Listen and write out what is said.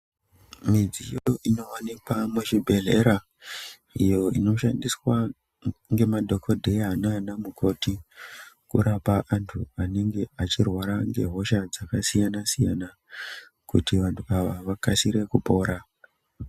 Midziyo inowanikwa muzvibhedhlera iyo inoshandiswa ngemadhokodheya naana mukoti kurapa antu anenge achirwara ngehosha dzakasiyana siyana kuti vantu ava vakasire kupora.